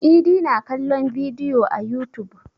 Idi na kallon bidiyo a yutub.